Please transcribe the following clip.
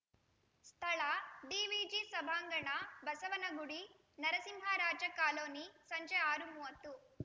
ಸ್ಥಳ ಡಿವಿಜಿ ಸಭಾಂಗಣ ಬಸವನಗುಡಿ ನರಸಿಂಹರಾಜ ಕಾಲೋನಿ ಸಂಜೆ ಆರು ಮೂವತ್ತು